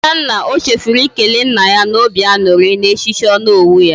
Adanna, o chefuru ikele nna ya na obi añuri na echichi Onowu ya.